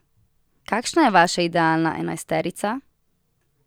Kakšna je vaša idealna enajsterica?